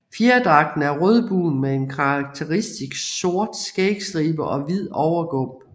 Fjerdragten er rødbrun med en karakteristisk sort skægstribe og hvid overgump